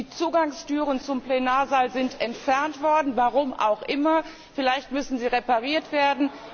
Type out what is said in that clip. Die Zugangstüren zum Plenarsaal sind entfernt worden, warum auch immer, vielleicht müssen sie repariert werden.